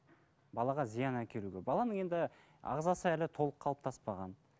балаға зиян әкелуге баланың енді ағзасы әлі толық қалыптаспаған